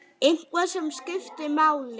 Eitthvað sem skiptir máli?